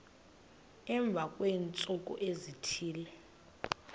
emva kweentsuku ezithile